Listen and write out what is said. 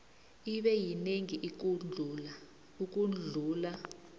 ibe yinengi ukudlula